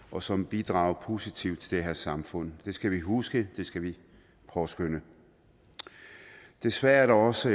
og som bidrager positivt til det her samfund det skal vi huske det skal vi påskønne desværre er der også